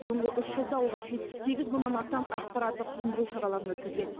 соңғы үш жылда олар жетпіс сегіз мыңнан астам ақпараттық түсіндіру шараларын өткізген